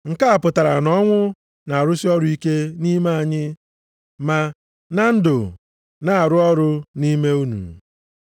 Nke a pụtara na ọnwụ na-arụsị ọrụ ike nʼime anyị, ma na ndụ na-arụ ọrụ nʼime unu.